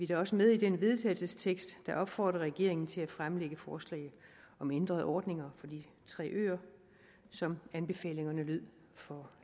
da også med i den vedtagelsestekst der opfordrer regeringen til at fremsætte forslag om ændrede ordninger for de tre øer som anbefalingerne lød for